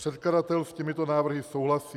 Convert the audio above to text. Předkladatel s těmito návrhy souhlasí.